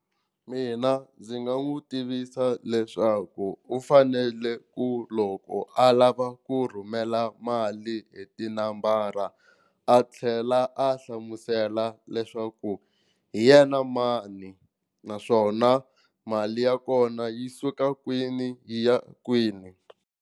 Mina ndzi nga n'wi tivisa leswaku u fanele ku loko a lava ku rhumela mali hi tinambara a tlhela a hlamusela leswaku hi yena mani naswona mali ya kona yi suka kwini yi ya kwini.